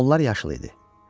Onlar yaşıl idi.